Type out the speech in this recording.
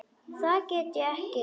Það get ég ekki